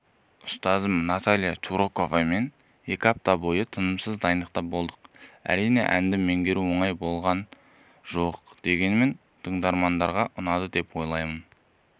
ұстазым наталия чураковамен екі апта бойы тынымсыз дайындықта болдық әрине әнді меңгеру оңай болған жоқ дегенмен тыңдармандарға ұнады деп ойлаймын